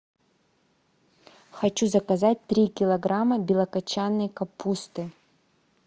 хочу заказать три килограмма белокочанной капусты